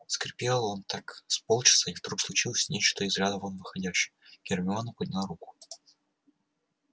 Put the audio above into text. скрипел он так с полчаса и вдруг случилось нечто из ряда вон выходящее гермиона подняла руку